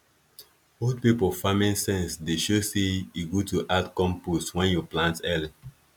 old people farming sense dey show say e good to add compost when you plant early